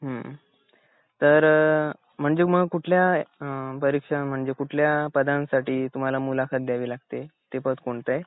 हुन तर म्हणजे मग कुठल्या अ परीक्षा म्हणजे कुठल्या पदांसाठी तुम्हाला मुलाखत द्यावी लागते ते पद कोणतं?